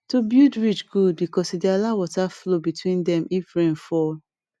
to build ridge good because e dey allow water flow between them if rain fall